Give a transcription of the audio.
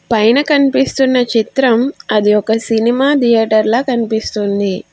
పైన కనిపిస్తున్న చిత్రం అది ఒక సినిమా ధియేటర్ల కనిపిస్తుంది.